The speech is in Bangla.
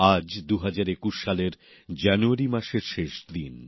আজ ২০২১ সালের জানুয়ারি মাসের শেষ দিন